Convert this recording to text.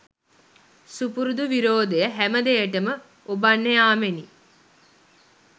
සුපුරුදු විරෝධය හැම දෙයටම ඔබන්න යාමෙනි.